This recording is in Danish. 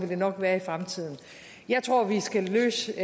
det nok være i fremtiden jeg tror vi skal løse